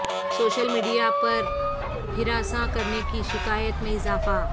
social media پر ہراساں کرنے کی شکایات میں اضافہ